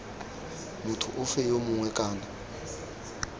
motho ofe yo mongwe kana